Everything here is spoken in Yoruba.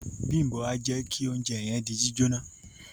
Bimbo a jẹ kí ounjẹ yẹn di jíjóná.